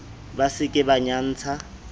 ba se ke ba nyantsha